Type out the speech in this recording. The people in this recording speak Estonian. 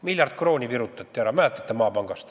Maapangast virutati ära, mäletate, miljard krooni.